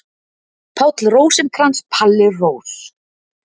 Páll Rósinkrans, Palli Rós.